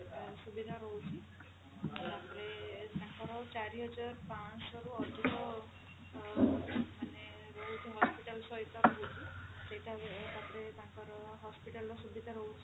ସୁବିଧା ରହୁଛି ତାପରେ ତାଙ୍କର ଚାରି ହଜାର ପାଞ୍ଚଶହରୁ ଅଧିକ ଅ ମାନେ ରହୁଚି hospital ସହିତ ରହୁଛି ସେଟା ତାପରେ ତାଙ୍କର hospital ର ସୁବିଧା ରହୁଛି